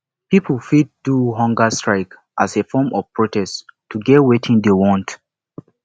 pipo fit do humger strike as a form of protest to get wetin dem want